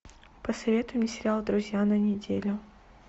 посоветуй мне сериал друзья на неделю